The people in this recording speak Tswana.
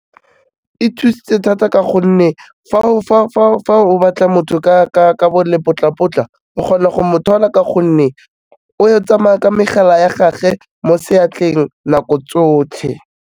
E thusitse thata ka gonne fa o batla motho ka bo lepotlapotla o kgona go mo thola ka gonne o tsamaya ka megala ya gage mo seatleng, nako tsotlhe.